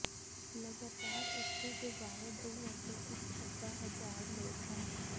ਲਗਾਤਾਰ ਉੱਥੇ ਦੇ ਬਾਰੇ ਦੋ ਅਤੇ ਇੱਕ ਅੱਧਾ ਹਜ਼ਾਰ ਲੋਕ ਹਨ